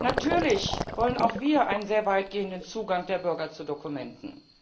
Natürlich wollen auch wir einen sehr weit gehenden Zugang der Bürger zu Dokumenten.